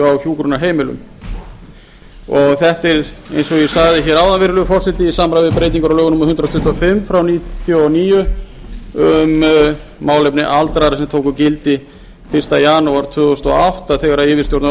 á hjúkrunarheimilum þetta er eins og ég sagði áðan virðulegi forseti í samræmi við breytingar á lögum númer hundrað tuttugu og fimm nítján hundruð níutíu og níu um málefni aldraðra sem tóku gildi fyrsta janúar tvö þúsund og átta þegar yfirstjórn